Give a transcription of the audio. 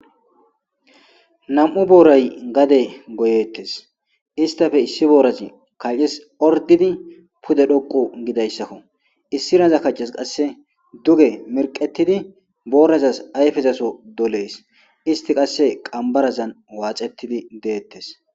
Nam'u boratay gade goyetes istappe issi borazi kace orididi pude xoqu gizayisakko issinazas kace qase duge mirqetidi borazas ayifezas doles isiti qase qanbarazan waxetidi deates.